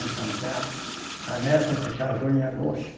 Então, tem a a neta que casou em agosto.